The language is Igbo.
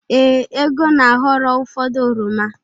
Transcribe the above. Ee, Ego na-aghọrọ ụfọdụ oroma.